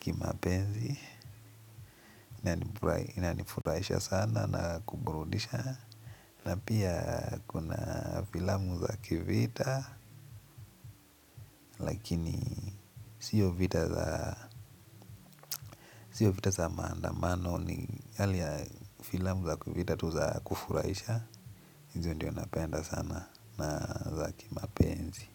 kimapenzi na inifurahisha sana na kuniburudisha. Na pia kuna filamu za kivita lakini sio vita za maandamano ni hali ya filamu za kivita tu za kufurahisha. Hizo ndio napenda sana na za kimapenzi.